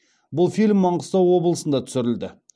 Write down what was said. бұл фильм маңғыстау облысында түсірілді